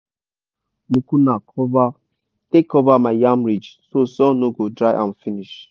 i dey use cover crops like mucuna cover take cover my yam ridge so sun no go dry am finish.